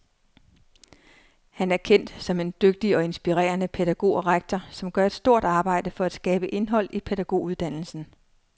Han er kendt som en dygtig og inspirerende pædagog og rektor, som gør et stort arbejde for at skabe indhold i pædagoguddannelsen.